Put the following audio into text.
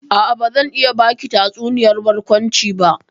A'a, bazan iya baki tatsuniyar barkwanci ba.